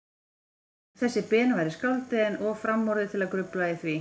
Einar þessi Ben væri skáldið, en of framorðið til að grufla í því.